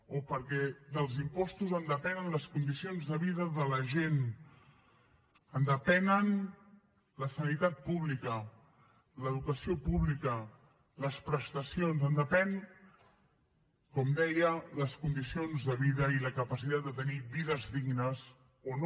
o perquè dels impostos en depenen les condicions de vida de la gent en depenen la sanitat pública l’educació pública les prestacions en depenen com deia les condicions de vida i la capacitat de tenir vides dignes o no